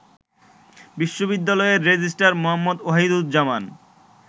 বিশ্ববিদ্যালয়ের রেজিস্ট্রার মো. ওহিদুজ্জামান